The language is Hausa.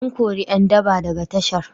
An kori ƴan daba daga tashar.